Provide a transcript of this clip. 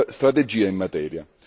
strategia in materia.